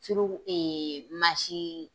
Firigo mansin